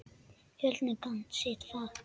Fjölnir kann sitt fag.